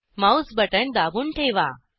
Mouse button दाबून ठेवा